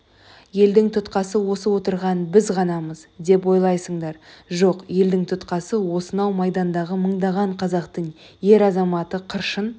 елдің тұтқасы осы отырған біз ғанамыз деп ойларсыңдар жоқ елдің тұтқасы осынау майдандағы мыңдаған қазақтың ер азаматы қыршын